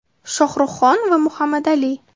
Shohruhxon va Muhammadali.